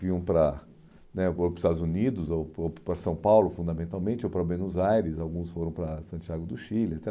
vinham para né ou para os Estados Unidos ou para o para São Paulo, fundamentalmente, ou para Buenos Aires, alguns foram para Santiago do Chile, et